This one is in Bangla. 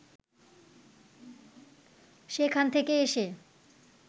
সেখান থেকে এসে